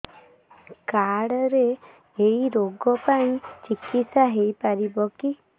card ରେ ଏଇ ରୋଗ ପାଇଁ ଚିକିତ୍ସା ହେଇପାରିବ କି